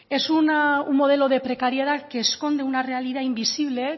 es un modelo de precariedad que esconde una realidad invisible